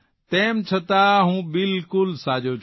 તેમ છતાં હું બિલકુલ સાજો છું